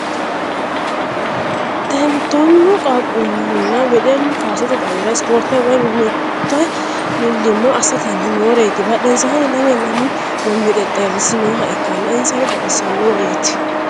Tonnu qaaqquluna weddellu kaasette xawwira isiporitte woyi manimatte milimmo assittani nooreti badhesininno lame lamu gommi xexxerisi nooha ikkanna inisanno baxxissanoreti